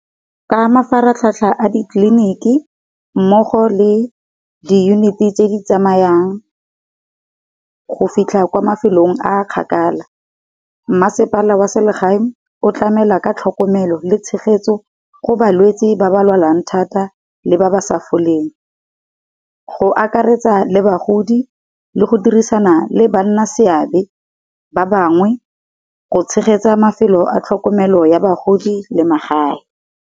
Ka mafaratlhatlha a ditlelinik, i mmogo le diyuniti tse di tsamayang, go fitlha kwa mafelong a kgakala. Mmasepala wa selegae o tlamela ka tlhokomelo le tshegetso go balwetsi ba ba lwalang thata le ba ba sa foleng. Go akaretsa le bagodi le go dirisana le banna seabe ba bangwe go tshegetsa mafelo a tlhokomelo ya bagodi le magae.